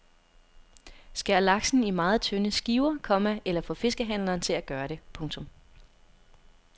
Skær laksen i meget tynde skiver, komma eller få fiskehandleren til at gøre det. punktum